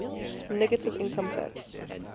negative income tax